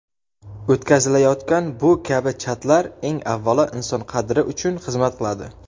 o‘tkazilayotgan bu kabi chatlar eng avvalo inson qadri uchun xizmat qiladi.